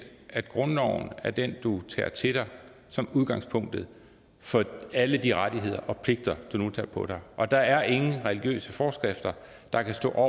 at grundloven er den du tager til dig som udgangspunktet for alle de rettigheder og pligter du nu tager på dig og at der ikke er nogen religiøse forskrifter der kan stå